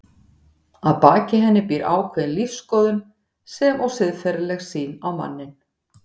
Að baki henni býr ákveðin lífsskoðun sem og siðferðileg sýn á manninn.